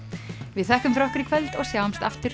við þökkum fyrir okkur í kvöld og sjáumst aftur